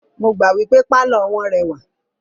Mo gbà wípé pálọ̀ wọ́n rẹwà.